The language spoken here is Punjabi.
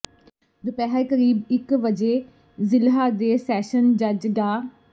ਦੁਪਹਿਰ ਕਰੀਬ ਇਕ ਵਜੇ ਜ਼ਿਲ੍ਹਾ ਤੇ ਸੈਸ਼ਨ ਜੱਜ ਡਾ